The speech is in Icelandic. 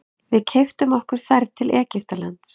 Við keyptum okkur ferð til Egyptalands.